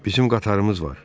Bizim qatarımız var.